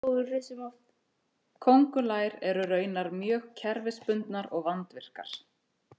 köngulær eru raunar mjög kerfisbundnar og vandvirkar